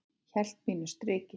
Hélt mínu striki.